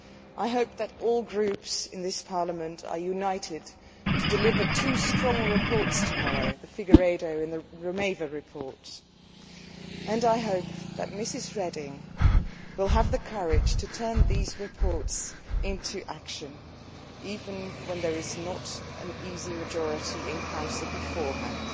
I hope that all groups in this Parliament are united to deliver two strong reports tomorrow the Figueiredo and the Romeva i Rueda reports and I hope that Ms Reding will have the courage to turn these reports into action, even when there is not an easy majority in Council beforehand.